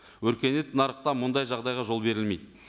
өркениет нарықта мұндай жағдайға жол берілмейді